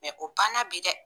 Mɛ o banna bi dɛ